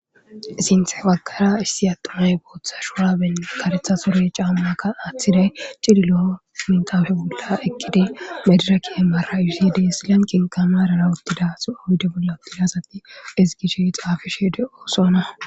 Sinththe baggara issi addey booththa shurabe kareththa suure caamakka cillillo mattan malan yedhidi medirekke maraishe des lanqenkka marara uttida asati ezgishe xaafishe de'ossonna